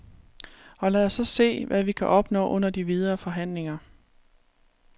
Og lad os så se, hvad vi kan opnå under de videre forhandlinger.